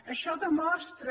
això demostra